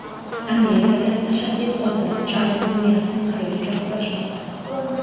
Amerikada ashaddiy qotil Charlz Menson hayot uchun kurashmoqda.